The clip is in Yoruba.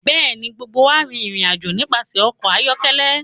Bẹẹni, gbogbo wa rin irin-ajo nipasẹ ọkọ ayọkẹlẹ